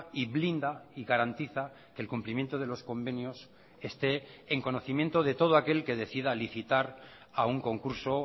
y blinda y garantiza el cumplimiento de los convenios esté en conocimiento de todo aquel que decida licitar a un concurso